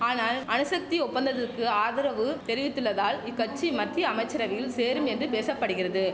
ஆனால் அணுசக்தி ஒப்பந்தத்துக்கு ஆதரவு தெரிவித்துள்ளதால் இக்கட்சி மத்திய அமைச்சரவையில் சேரும் என்று பேச படுகிறது